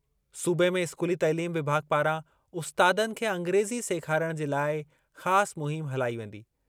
सूबे में इस्कूली तइलीम विभाॻु पारां उस्तादनि खे अंग्रेज़ी सेखारणु जे लाइ ख़ासि मुहिम हलाई वेंदी।